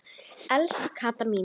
Elsku Kata mín.